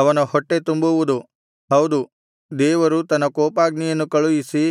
ಅವನ ಹೊಟ್ಟೆ ತುಂಬುವುದು ಹೌದು ದೇವರು ತನ್ನ ಕೋಪಾಗ್ನಿಯನ್ನು ಕಳುಹಿಸಿ